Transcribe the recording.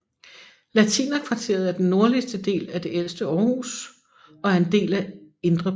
Latinerkvarteret er den nordligste del af det ældste Aarhus og er en del af Indre By